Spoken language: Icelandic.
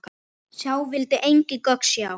Sá vildi engin gögn sjá.